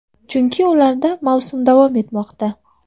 Chunki ularda mavsum davom etmoqda.